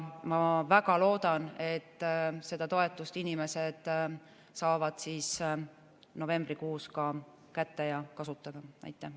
Ma väga loodan, et inimesed saavad selle toetuse novembrikuus kätte ja võivad seda kasutada.